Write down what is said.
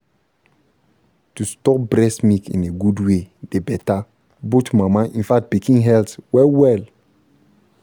to store breast milk in a good way dey better both mama in fact pikin health well-well